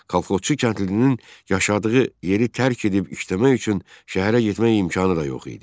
Kolxozçu kəndlinin yaşadığı yeri tərk edib işləmək üçün şəhərə getmək imkanı da yox idi.